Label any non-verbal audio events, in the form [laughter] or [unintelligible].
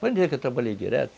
[unintelligible] que eu trabalhei direto.